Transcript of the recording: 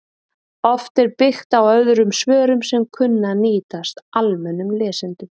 Oft er byggt á öðrum svörum sem kunna að nýtast almennum lesendum